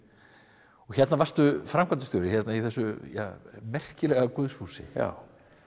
og hérna varstu framkvæmdastjóri í þessu merkilega guðshúsi já